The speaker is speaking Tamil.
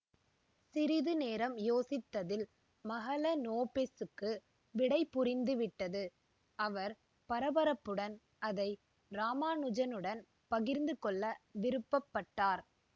சிறிது நேரம் யோசித்ததில் மஹலனோபிஸ்சுக்கு விடை புரிந்துவிட்டது அவர் பரபரப்புடன் அதை இராமானுஜனுடன் பகிர்ந்துகொள்ள விருப்பப் பட்டார்